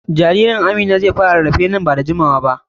Jaririn Amina zai fara rarrafe nan ba da jimawa ba.